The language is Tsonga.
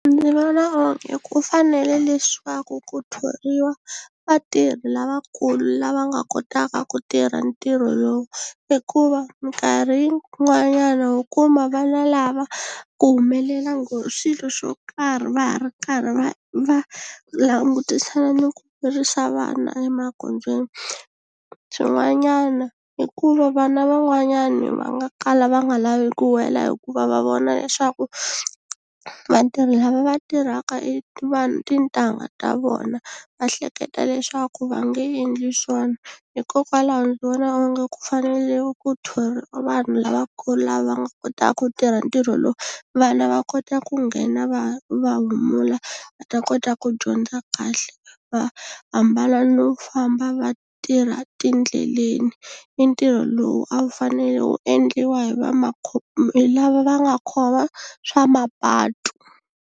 Ndzi vona onge ku fanele leswaku ku thoriwa vatirhi lavakulu lava nga kotaka ku tirha ntirho lowu hikuva minkarhi yin'wanyana ho kuma vana lava ku humelela swilo swo karhi va ha ri karhi va va langutisana ni ku vana emagondzweni swin'wanyana i ku va vana van'wanyani va nga kala va nga lavi ku wela hikuva va vona leswaku vatirhi lava va tirhaka e vanhu tintangha ta vona va hleketa leswaku va nge endli swona hikokwalaho ndzi vona onge ku fanele ku thoriwa vanhu lavakulu lava nga kota ku tirha ntirho lowu vana va kota ku nghena va va humula va ta kota ku dyondza kahle va ambala no famba va tirha tindleleni i ntirho lowu a wu fanele wu endliwa hi va hi lava va nga khoma swa mapatu.